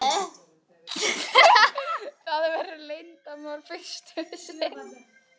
Það verður leyndarmál fyrst um sinn.